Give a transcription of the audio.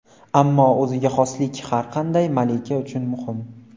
Ammo o‘ziga xoslik har qanday malika uchun muhim.